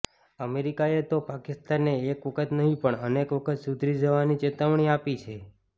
અમેરિકાએ તો પાકિસ્તાનને એક વખત નહીં પણ અનેક વખત સુધરી જવાની ચેતવણી આપી છે